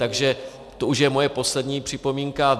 Takže to už je moje poslední připomínka.